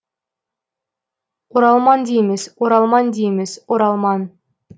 оралман дейміз оралман дейміз оралман